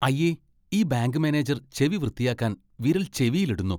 അയ്യേ . ഈ bank manager ചെവി വൃത്തിയാക്കാൻ വിരൽ ചെവിയിൽ ഇടുന്നു